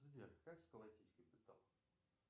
сбер как сколотить капитал